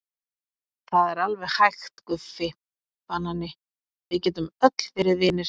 Það er alveg hægt Guffi banani, við getum öll verið vinir.